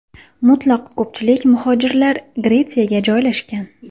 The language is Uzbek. Mutlaq ko‘pchilik muhojirlar Gretsiyaga joylashgan.